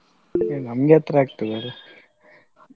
ನಮ್ಗೆ ಹತ್ರ ಆಗ್ತದೆ ಅಲ್ಲ.